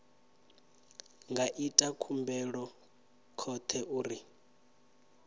nga ita khumbelo khothe uri